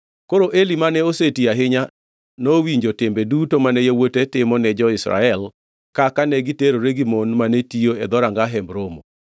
Koro Eli mane oseti ahinya; nowinjo timbe duto mane yawuote timo ne jo-Israel kaka negiterore gi mon mane tiyo e dhoranga Hemb Romo.